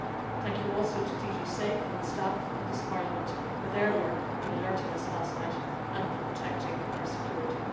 Thank you also to DG SAFE and the staff of this Parliament for their work in alerting us last night and for protecting our security.